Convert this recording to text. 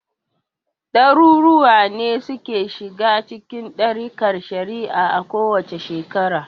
Ɗaruruwa ne suke shiga cikin ɗarikar shi'a a kowace shekara.